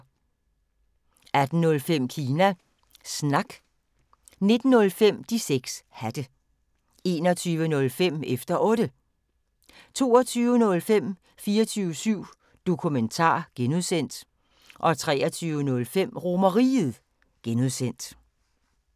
18:05: Kina Snak 19:05: De 6 Hatte 21:05: Efter Otte 22:05: 24syv Dokumentar (G) 23:05: RomerRiget (G)